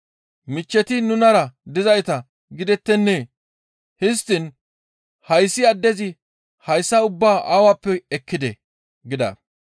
Michcheti nunara dizayta gidettennee? Histtiin hayssi addezi hayssa ubbaa awappe ekkidee?» gida.